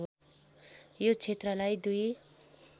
यो क्षेत्रलाई दुई